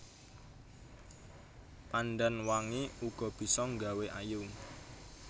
Pandan wangi uga bisa nggawé ayu